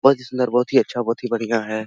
बहुत ही सुन्दर बहुत ही अच्छा बहुत ही बढिया है ।